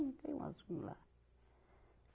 Tem uns lá.